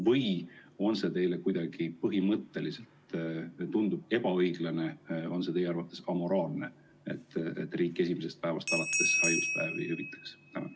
Või tundub see teile kuidagi põhimõtteliselt ebaõiglane või amoraalne, et riik esimesest päevast alates haiguspäevi hüvitaks?